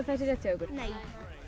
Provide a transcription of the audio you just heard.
það sé rétt hjá ykkur nei